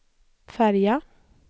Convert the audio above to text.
färja